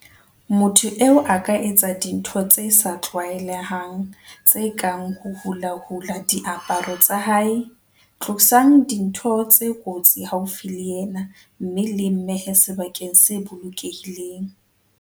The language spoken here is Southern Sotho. Motho eo a ka etsa dintho tse sa tlwaelehang tse kang ho hulahula diaparo tsa hae. "Tlosang dintho tse kotsi haufi le yena mme le mmehe sebakeng se bolokehileng."